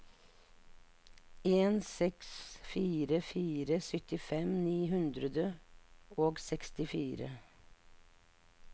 en seks fire fire syttifem ni hundre og sekstifire